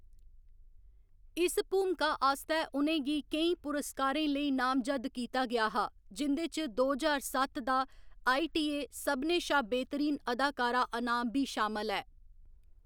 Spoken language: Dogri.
इस भूमका आस्तै उ'नें गी केईं पुरस्कारें लेई नामजद्द कीता गेआ हा, जिं'दे च दो ज्हार सत्त दा आईटीए सभनें शा बेह्‌तरीन अदाकारा अनाम बी शामल ऐ।